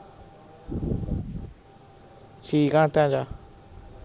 ਛੀ ਘੰਟਿਆਂ ਚ